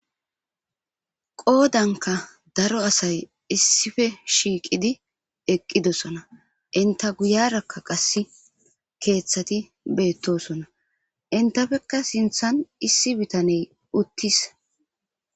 Qodanikka daro asayi issippe shiqqiddi eqqidosona enitta guyarakka qase keththati de'osona.enttappekka sinththanni issi bitaneyi uttis.